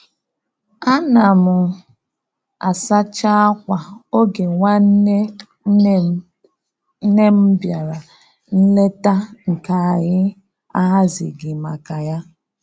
Ana m asacha akwà oge nwanne nne m nne m bịara nlete nke anyị ahazighị maka ya